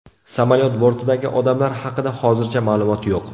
Samolyot bortidagi odamlar haqida hozircha ma’lumot yo‘q.